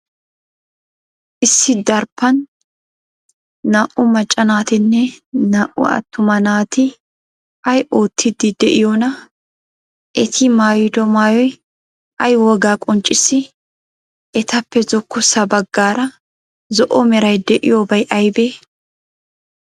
Issi daraphphan naa''u macca naatinne naa''u attuma naati ay oottiiddi de'iyoonaa? Eti maayido maayoy ay wogaa qonccissii? Etappe zokkossa baggaara zo'o meray de'iyoobay aybee?